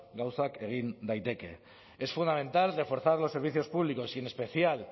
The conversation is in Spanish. gauzak egin daiteke es fundamental reforzar los servicios públicos y en especial